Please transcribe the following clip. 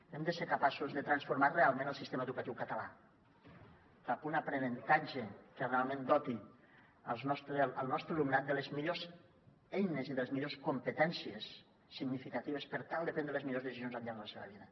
hem de ser capaços de transformar realment el sistema educatiu català cap a un aprenentatge que realment doti el nostre alumnat de les millors eines i de les millors competències significatives per tal de prendre les millors decisions al llarg de la seva vida